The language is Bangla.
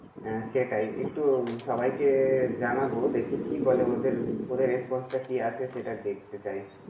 হ্যাঁ সেটাই, একটু সবাইকে জানাবো দেখি কি বলে ওদের response টা কি আসে সেটা দেখতে চাই।